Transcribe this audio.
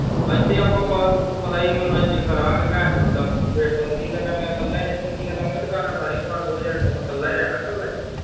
ਹਿਥੇ ਆਪਾ ਬਸ ਤੈਨੂੰ ਪਤਾ ਈ ਆ ਮਨੋਰੰਜਨ ਕਰਾਂਗੇ ਦਾ। ਕੀ ਕਰਨਾ ਮੈਂ ਕੱਲੇ ਨੀ ਇਥੇ ਕੀ ਕਰਨਾ ਮਾਮਾ ਦੁਕਾਨਾਂ ਸਾਰੀਆਂ ਬੰਦ ਹੋ ਜਾਣੀਆਂ ਮੈਂ ਕੱਲਾ ਹੀ ਰਹਿਣਾ ਕੱਲਾ ਈ।